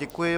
Děkuji.